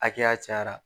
Hakɛya cayara